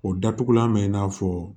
O datugulan bɛ i n'a fɔ